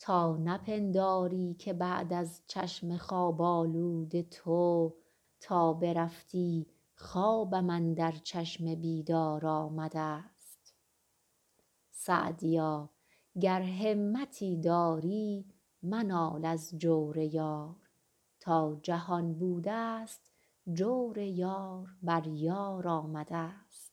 تا نپنداری که بعد از چشم خواب آلود تو تا برفتی خوابم اندر چشم بیدار آمده ست سعدیا گر همتی داری منال از جور یار تا جهان بوده ست جور یار بر یار آمده ست